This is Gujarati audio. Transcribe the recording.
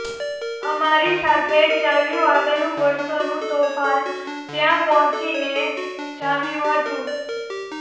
અમારી સાથે ચાલ્યું આવેલું વર્ષાનું તોફાન ત્યાં પહોંચીને જામ્યું હતું